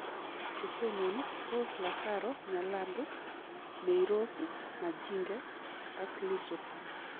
Che tononi ko Lasaro Nyalandu, Mayrose Majinge ak Lissu